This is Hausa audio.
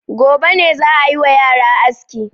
Gobe ne za a yi wa yara aski.